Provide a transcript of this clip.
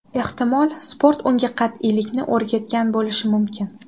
Ehtimol, sport unga qat’iylikni o‘rgatgan bo‘lishi mumkin.